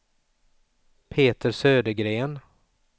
Peter Södergren